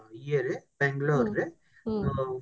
ଇଏରେ Bangalore ରେ ତ